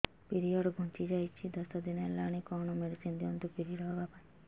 period ଘୁଞ୍ଚି ଯାଇଛି ଦଶ ଦିନ ହେଲାଣି କଅଣ ମେଡିସିନ ଦିଅନ୍ତୁ ପିରିଅଡ଼ ହଵା ପାଈଁ